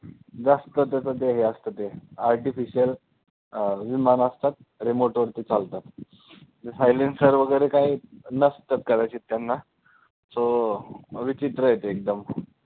जास्त त्याच ते हे असतं ते artificial अं विमानं असतात remote वरती चालतात silencer वगैरे काही नसतं कदाचित त्यांना so विचित्र आहे ते एकदम